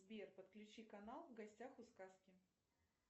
сбер подключи канал в гостях у сказки